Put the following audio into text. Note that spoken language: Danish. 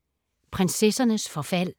Prinsessernes forfald